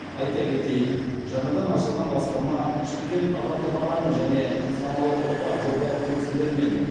айта кетейік жаңадан ашылған басқарма шымкент адалдық алаңы және саналы ұрпақ жобалық кеңселерімен